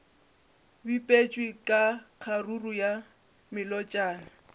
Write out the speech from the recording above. bipetšwe ka kgaruru ya melotšana